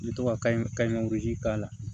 N bɛ to ka kayi kayi k'a la